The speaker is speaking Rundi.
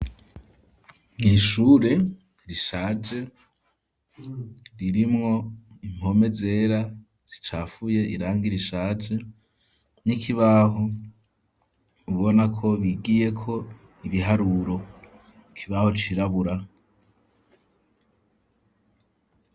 N'ishure rishaje ririmwo impome zera zicafuye irangi rishaje n'ikibaho ubonako bigiyeko ibiharuro ikibaho cirabura.